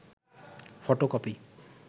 photocopy